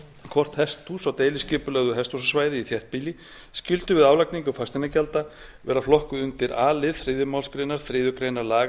hvort hesthús á deiliskipulögðu hesthúsasvæði í þéttbýli skyldu við álagningu fasteignagjalda vera flokkuð undir a lið þriðju málsgrein þriðju grein laga númer